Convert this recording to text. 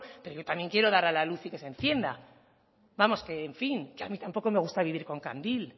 pero yo también quiero dar a la luz y que se encienda vamos que en fin que a mí tampoco me gusta vivir con candil